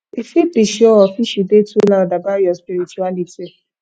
e fit be showoff if you dey too loud about your spirituality